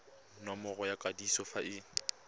nomoro ya kwadiso fa e